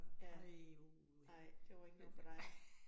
Ja. Nej, det var ikke noget for dig